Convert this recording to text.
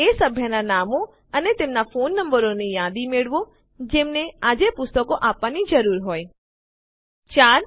એ સભ્યનાં નામો અને તેમના ફોન નંબરોની યાદી મેળવો જેમને આજે પુસ્તકો આપવાની જરૂર હોય ૪